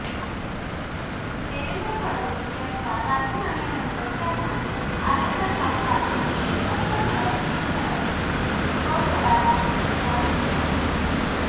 देवेंद्र फडणवीस यांच्या राजीनाम्यानंतर त्यांना आरेचा शाप लागला असं म्हणत नेटकऱ्यांनी ट्रोल करायला सुरूवात केली